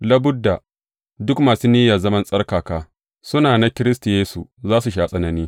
Labudda, duk masu niyyar zaman tsarkaka, suna na Kiristi Yesu, za su sha tsanani.